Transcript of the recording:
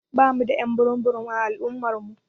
Ɓamu da y'an burum burum a al'umma namu.